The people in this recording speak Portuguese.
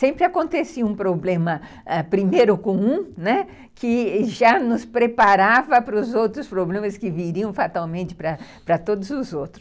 Sempre acontecia um problema primeiro com um, né, que já nos preparava para os outros problemas que viriam fatalmente para todos os outros.